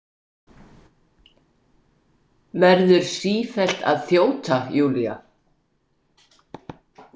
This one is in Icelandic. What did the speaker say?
Verður sífellt að þjóta, Júlía.